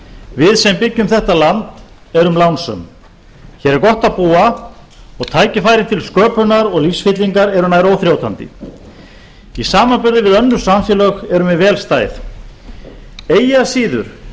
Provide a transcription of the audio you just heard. við sem byggjum þetta land erum lánsöm hér er gott að búa og tækifæri til sköpunar og lífsfyllingar eru nær óþrjótandi í samanburði við önnur samfélög erum við vel stæð eigi að síður